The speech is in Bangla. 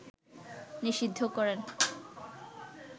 নিষিদ্ধ করেন